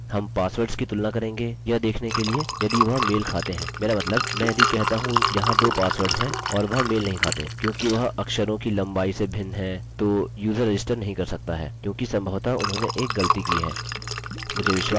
हम पासवर्ड्स की तुलना करेंगे यह देखने के लिए यदि वह मेल खाते हैं मेरा मतलब मैं यदि कहता हूँ यहाँ दो पासवर्ड्स हैं और वह मेल नहीं खाते क्योंकि वह अक्षरों की लम्बाई से भिन्न हैं तो यूज़र रजिस्टर नहीं कर सकता है क्योंकि सम्भवतः उन्होंने एक गलती की है